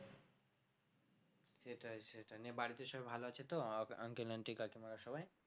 সেটাই সেটাই নিয়ে বাড়িতে সবাই ভালো আছে তো uncle aunty কাকিমারা সবাই?